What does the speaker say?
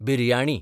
biryani